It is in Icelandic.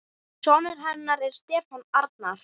Sonur hennar er Stefán Arnar.